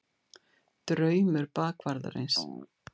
DRAUMUR BAKVARÐARINS.